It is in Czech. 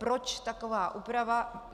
Proč taková úprava?